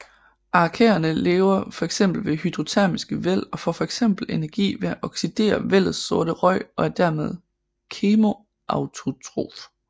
Arkæerne lever fx ved hydrotermiske væld og får fx energi ved at oxidere vældets sorte røg og er dermed kemoautotrof